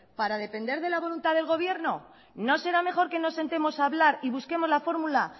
para depender de la voluntad del gobierno no será mejor que nos sentemos a hablar y busquemos la formula